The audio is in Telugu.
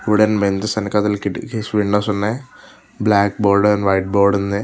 వూడేన్ బెంజెస్ వేనుకతల కిటికీస్ విండోస్ ఉన్నాయి. Black board and white board ఉంది.